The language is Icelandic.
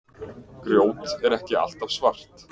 Grjót er ekki alltaf svart.